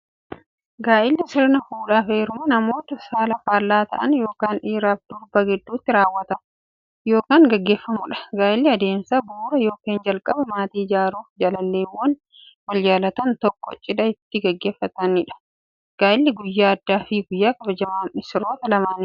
Gaa'illi sirna fuudhaaf heerumaa namoota saala faallaa ta'an yookiin dhiiraf dubara gidduutti raawwatu yookiin gaggeeffamuudha. Gaa'illi adeemsa bu'uuraa yookiin jalqabaa maatii ijaaruuf, jaalalleewwan wal jaalatan tokko cidha itti gaggeeffatamiidha. Gaa'illi guyyaa addaafi guyyaa kabajamaa missiroota lamaaniiti.